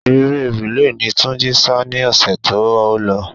Eré rìle ni Túnjí sá ni ọ̀sẹ̀ tí ó lọ.